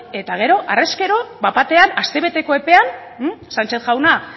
eta gero arrez gero bat batean astebeteko epean sanchez jauna